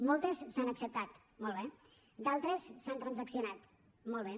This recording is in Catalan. moltes s’han acceptat molt bé d’altres s’han transaccionat molt bé